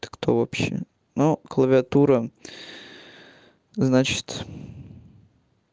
ты кто вообще но клавиатура значит